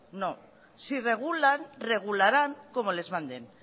no si regulan regularán como les manden